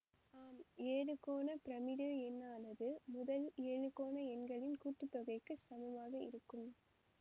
ஆம் எழுகோண பிரமிடு எண்ணானது முதல் எழுகோண எண்களின் கூட்டுத்தொகைக்குச் சமமாக இருக்கும்